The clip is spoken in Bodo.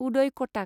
उदय कटाक